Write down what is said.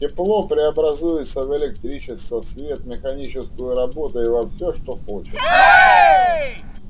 тепло преобразуется в электричество свет механическую работу и во всё что хочешь